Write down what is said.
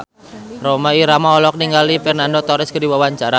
Rhoma Irama olohok ningali Fernando Torres keur diwawancara